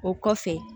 O kɔfɛ